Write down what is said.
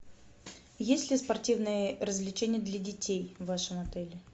есть ли спортивные развлечения для детей в вашем отеле